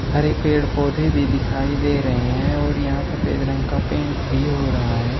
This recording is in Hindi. हरे पेड़ पौधे भी दिखाई दे रहे हैं और यहां सफेद रंग का पेंट भी हो रहा है।